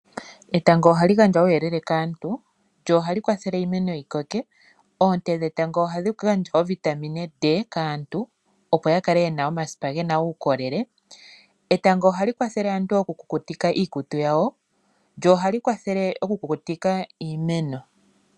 Etango ohali gandja uuyelele kaantu, lyo ohali kwathele iimeno yikoke. Oonte dhetango ohadhi gandja ovitamine T kaantu opo ya kale ye na omasipa ge na uukolele. Ohali kwathele aantu oku kukutika iikutu yawo nosho wo iimeno.